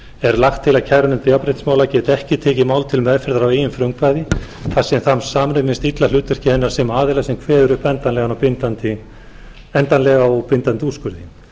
er lagt til að kærunefnd jafnréttismála geti ekki tekið mál til meðferðar að eigin frumkvæði þar sem það samræmist illa hlutverki hennar sem aðila sem kveður upp endanlega og bindandi úrskurði